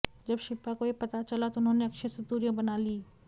जब शिल्पा को ये पता चला तो उन्होंने अक्षय से दूरियां बना लीं